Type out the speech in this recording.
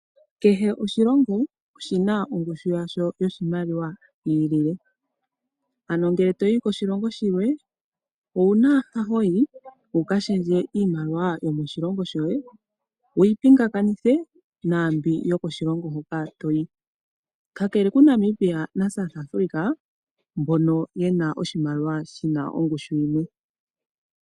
Kehe oshilongo, oshina ongushu yasho yoshimaliwa yiilile. Ano ngele toyi koshilongo shilwe, owuna mpa hoyi, wukashendje iimaliwa yomoshilongo shoye, wuyi pingakanithe naambi yokoshilongo hoka toyi.